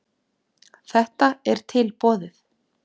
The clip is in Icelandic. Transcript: Þetta er tilboðið.